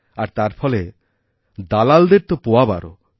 আর তার ফলেদালালদের তো পোয়াবারো